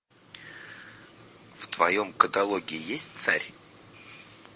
в твоем каталоге есть царь